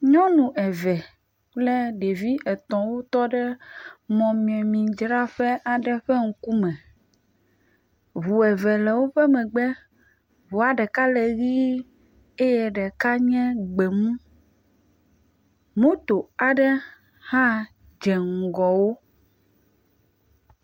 Nyɔnu eve kple ɖevi etɔ̃ wotɔ ɖe mɔmemidzraƒe aɖe ƒe ŋkume. Ŋu eve le woƒe megbe. Ŋua ɖeka le ʋii eye ɖeka nye gbemu. Moto aɖe hã dze ŋgɔ wo.